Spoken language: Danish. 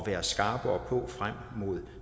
være skarpere på frem mod